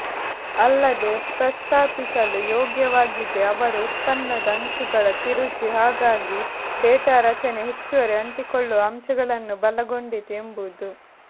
ಅಲ್ಲದೆ ಪ್ರಸ್ತಾಪಿಸಲು ಯೋಗ್ಯವಾಗಿದೆ ಅವರು ಉತ್ಪನ್ನದ ಅಂಚುಗಳ ತಿರುಚಿ ಹಾಗಾಗಿ ಡೇಟಾ ರಚನೆ ಹೆಚ್ಚುವರಿ ಅಂಟಿಕೊಳ್ಳುವ ಅಂಶಗಳನ್ನು ಬಲಗೊಂಡಿತು ಎಂಬುದು